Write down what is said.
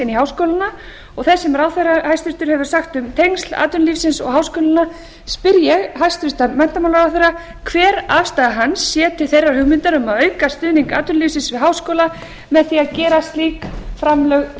inn í háskólana og þess sem ráðherra hæstvirtur hefur sagt um tengsl atvinnulífsins og háskólanna spyr ég hæstvirtan menntamálaráðherra hver afstaða hans sé til þeirrar hugmyndar um að auka stuðning atvinnulífsins við háskóla með því að gera slík framlög